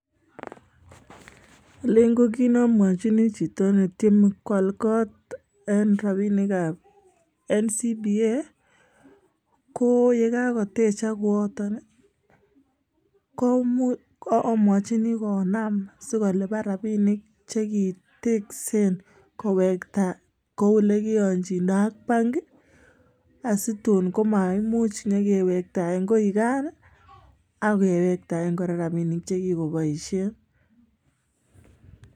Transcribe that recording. Alen ko kit nomwochini chito netieme koal kot en rapinikab NCBA, koo yekakotechak kooton ii amwachin konaam sikolipan rapinik chekiteksen kowekta kou olekiyonjindak ak banki asitun komaimuch inyokewektaen koi gan akewektaen kora rapinik chekikoboisien.